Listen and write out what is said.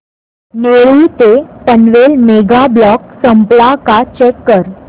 नेरूळ ते Panvel mega block संपला का चेक कर